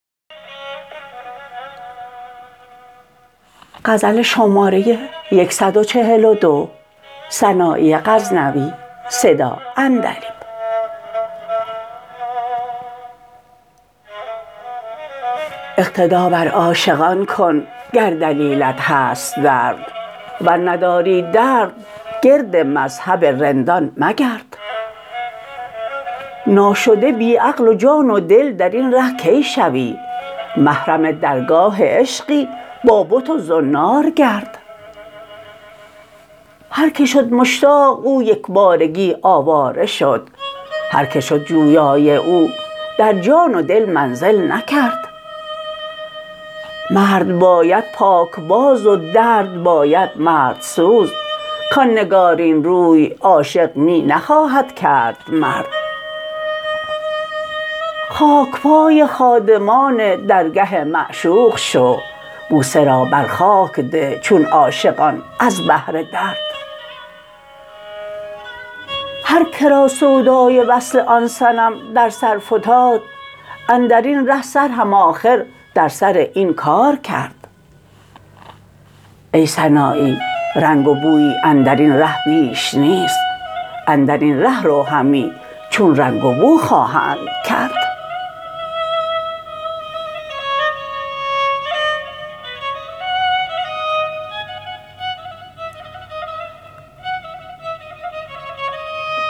اقتدا بر عاشقان کن گر دلیلت هست درد ور نداری درد گرد مذهب رندان مگرد ناشده بی عقل و جان و دل درین ره کی شوی محرم درگاه عشقی با بت و زنار گرد هر که شد مشتاق او یکبارگی آواره شد هر که شد جویای او در جان و دل منزل نکرد مرد باید پاکباز و درد باید مرد سوز کان نگارین روی عاشق می نخواهد کرد مرد خاکپای خادمان درگه معشوق شو بوسه را بر خاک ده چون عاشقان از بهر درد هر کرا سودای وصل آن صنم در سر فتاد اندرین ره سر هم آخر در سر این کار کرد ای سنایی رنگ و بویی اندرین ره بیش نیست اندرین ره رو همی چون رنگ و بو خواهند کرد